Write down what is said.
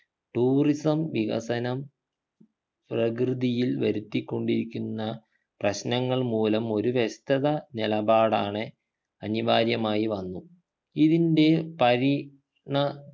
tourism വികസനം പ്രകൃതിയിൽ വരുത്തിക്കൊണ്ടിരിക്കുന്ന പ്രശ്നങ്ങൾ മൂലം ഒരു വ്യക്തത നിലപാടാണ് അനിവാര്യമായി വന്നു ഇതിൻ്റെ പരി ണാ